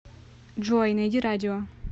джой найди радио